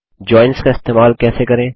joins का इस्तेमाल कैसे करें